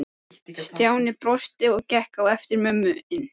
Stjáni brosti og gekk á eftir mömmu inn.